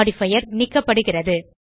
modifier நீக்கப்படுகிறது